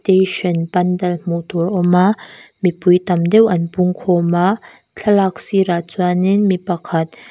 station pandal hmuh tur awma mipui tam deuh an pungkhawm a thlalak sirah chuanin mipakhat--